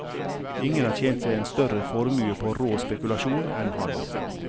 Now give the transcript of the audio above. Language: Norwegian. Ingen har tjent seg en større formue på rå spekulasjon enn han.